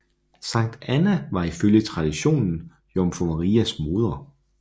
Sankt Anna var ifølge traditionen Jomfru Marias moder